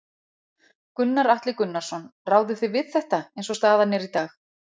Gunnar Atli Gunnarsson: Ráðið þið við þetta eins og staðan er í dag?